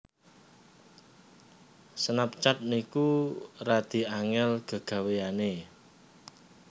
Snapchat niku radi angel gegaweane